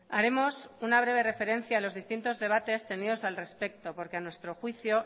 haremos una breve referencia a los distintos debates tenidos al respecto porque a nuestro juicio